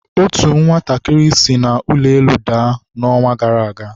otu nwatakịrị si n'ụlọ elu daa na ọnwa gara aga.